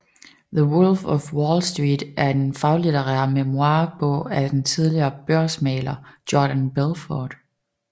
The Wolf of Wall Street er en faglitterær memoir bog af den tidligere børsmægler Jordan Belfort